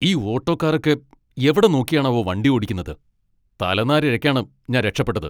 ഈ ഓട്ടോക്കാരൊക്കെ എവിടെ നോക്കിയാണാവോ വണ്ടി ഓടിക്കുന്നത്, തലനാരിഴക്കാണ് ഞാൻ രക്ഷപ്പെട്ടത്.